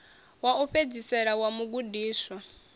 wa u fhedzisela wa mugudiswa